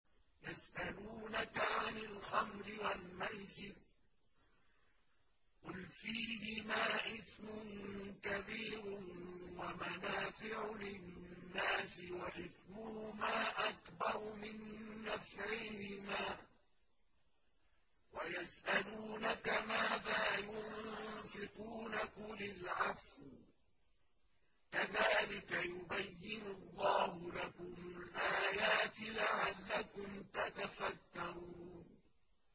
۞ يَسْأَلُونَكَ عَنِ الْخَمْرِ وَالْمَيْسِرِ ۖ قُلْ فِيهِمَا إِثْمٌ كَبِيرٌ وَمَنَافِعُ لِلنَّاسِ وَإِثْمُهُمَا أَكْبَرُ مِن نَّفْعِهِمَا ۗ وَيَسْأَلُونَكَ مَاذَا يُنفِقُونَ قُلِ الْعَفْوَ ۗ كَذَٰلِكَ يُبَيِّنُ اللَّهُ لَكُمُ الْآيَاتِ لَعَلَّكُمْ تَتَفَكَّرُونَ